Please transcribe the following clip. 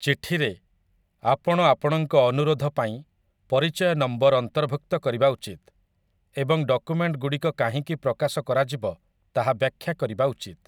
ଚିଠିରେ, ଆପଣ ଆପଣଙ୍କ ଅନୁରୋଧ ପାଇଁ ପରିଚୟ ନମ୍ବର୍ ଅନ୍ତର୍ଭୁକ୍ତ କରିବା ଉଚିତ୍ ଏବଂ ଡକୁମେଣ୍ଟଗୁଡ଼ିକ କାହିଁକି ପ୍ରକାଶ କରାଯିବ ତାହା ବ୍ୟାଖ୍ୟା କରିବା ଉଚିତ୍ ।